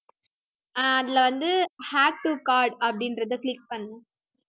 ஆஹ் அதிலே வந்து add to cart அப்படின்றதை click பண்ணு